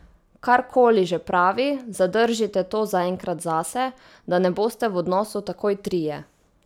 Kar koli že pravi, zadržite to zaenkrat zase, da ne boste v odnosu takoj trije.